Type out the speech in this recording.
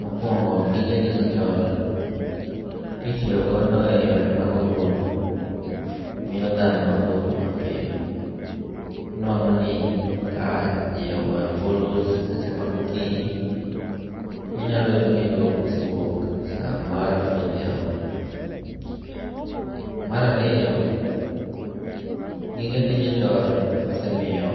Mokuongo' gige digitalcs], kitiyogodo e yore mag ombulu, miyo thano dwoko mapiyo, inwango' ni ka ji ogoyo ombulu e seche mag okinyi tinyualo yudoni dwoko osewuok samar odhiambo. Marariyo gige digital osemiyo